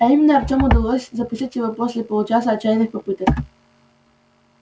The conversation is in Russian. и именно артему удалось запустить его после получаса отчаянных попыток